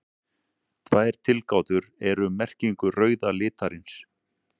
Tvær tilgátur eru um merkingu rauða litarins.